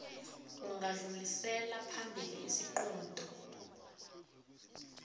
ungadlulisela phambili isiqunto